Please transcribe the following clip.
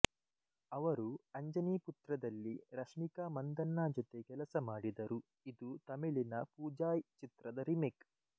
ಅವರು ಅಂಜನಿ ಪುತ್ರದಲ್ಲಿ ರಶ್ಮಿಕಾ ಮಂದಣ್ಣ ಜೊತೆ ಕೆಲಸ ಮಾಡಿದರು ಇದು ತಮಿಳಿನ ಪೂಜಾಯ್ ಚಿತ್ರದ ರೀಮೇಕ್